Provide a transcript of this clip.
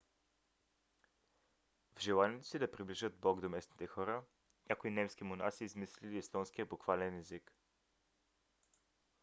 в желанието си да приближат бог до местните хора някои немски монаси измислили естонския буквален език